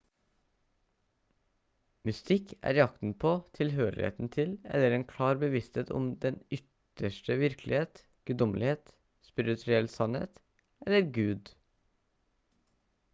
mystikk er jakten på tilhørigheten til eller en klar bevissthet om den ytterste virkelighet guddommelighet spirituell sannhet eller gud